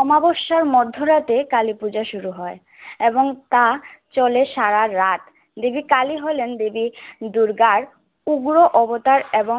অমাবস্যার মধ্যরাতে কালীপূজা শুরু হয় এবং তা চলে সারারাত। দেবী কালী হলেন দেবী দুর্গার উগ্র অবতার এবং